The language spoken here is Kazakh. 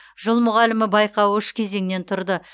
жыл мұғалімі байқауы үш кезеңнен тұрды